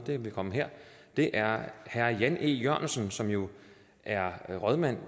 vil komme her det er herre jan e jørgensen som jo er rådmand